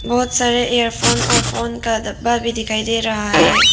बहुत सारे एयरफोन और फोन का डब्बा भी दिखाई दे रहा है।